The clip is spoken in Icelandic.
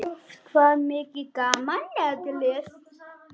Oft var mikið gaman.